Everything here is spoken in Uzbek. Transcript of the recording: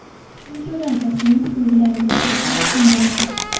Chunki ularda klinik belgilar yo‘q, desa ham bo‘ladi.